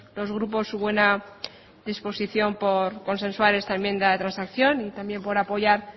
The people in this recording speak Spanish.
los grupos su buena disposición por consensuar esta enmienda de transacción y también por apoyar